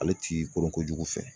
Ale ti koronko jugu fɛ.